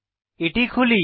এটি খুলি